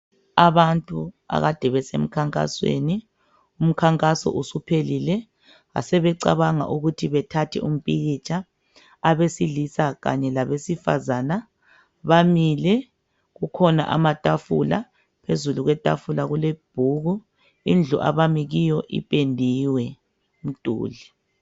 Abantu akade besemkhankhasweni . Umkhankaso usuphelile basebecabanga ukuthi bethathe umpikitsha .Abesilisa kanye labesifazana bamile kukhona amatafula, phezulu kwetafula kulebhuku. Indlu abami kiyo ipendiwe.